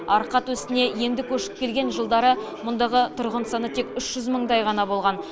арқа төсіне енді көшіп келген жылдары мұндағы тұрғын саны тек үш жүз мыңдай ғана болған